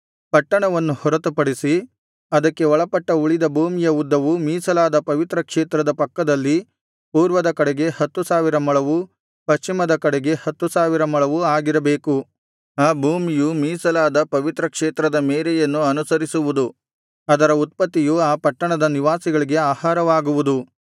ಪಟ್ಟಣವನ್ನು ಹೊರತುಪಡಿಸಿ ಅದಕ್ಕೆ ಒಳಪಟ್ಟ ಉಳಿದ ಭೂಮಿಯ ಉದ್ದವು ಮೀಸಲಾದ ಪವಿತ್ರ ಕ್ಷೇತ್ರದ ಪಕ್ಕದಲ್ಲಿ ಪೂರ್ವದ ಕಡೆಗೆ ಹತ್ತು ಸಾವಿರ ಮೊಳವು ಪಶ್ಚಿಮದ ಕಡೆಗೆ ಹತ್ತು ಸಾವಿರ ಮೊಳವು ಆಗಿರಬೇಕು ಆ ಭೂಮಿಯು ಮೀಸಲಾದ ಪವಿತ್ರ ಕ್ಷೇತ್ರದ ಮೇರೆಯನ್ನು ಅನುಸರಿಸುವುದು ಅದರ ಉತ್ಪತ್ತಿಯು ಆ ಪಟ್ಟಣದ ನಿವಾಸಿಗಳಿಗೆ ಆಹಾರವಾಗುವುದು